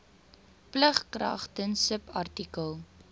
plig kragtens subartikel